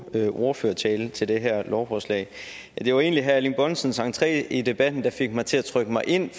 ordførertale til det her lovforslag det var egentlig herre erling bonnesens entré i debatten der fik mig til at trykke mig ind